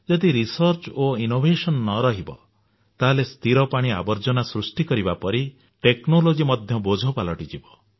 ଯଦି ଗବେଷଣା ଓ ଉଦ୍ଭାବନ ନ ରହିବ ତାହେଲେ ସ୍ଥିର ପାଣି ଆବର୍ଜନା ସୃଷ୍ଟି କରିବା ପରି ଟେକ୍ନୋଲୋଜି ମଧ୍ୟ ବୋଝ ପାଲଟି ଯିବ